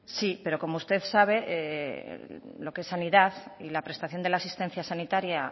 sí pero como usted sabe lo que es sanidad y la prestación de la asistencia sanitaria